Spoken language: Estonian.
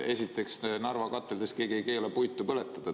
Esiteks, Narva kateldes ei keela keegi puitu põletada.